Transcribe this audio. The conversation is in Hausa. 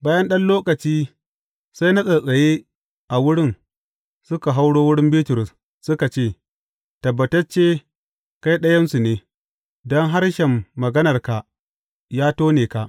Bayan ɗan lokaci, sai na tsattsaye a wurin, suka hauro wurin Bitrus, suka ce, Tabbatacce, kai ɗayansu ne, don harshen maganarka, ya tone ka.